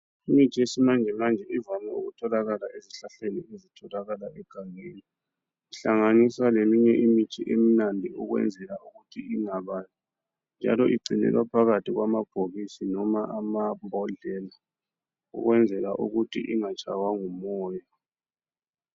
Imithi yesimanjemanje ivame ukutholakala ezihlahleni ezitholakala egangeni kuhlanganisa leminye imithi emnandi ukwenzela ukuthi ingababi njalo igcinelwa phakathi kwamabhokisi loba amabhodlela ukwenzela ukuthi ingatshaywa ngumoya .